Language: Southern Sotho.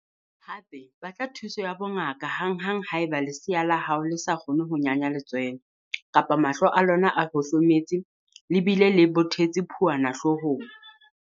Hape, batla thuso ya bongaka hanghang haeba lesea la hao le sa kgone ho nyanya letswele kapa mahlo a lona a hohlometse le bile le bothetse phuana hloohong.